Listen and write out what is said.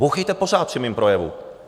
Bouchejte pořád při mém projevu.